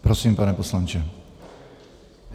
Prosím, pane poslanče.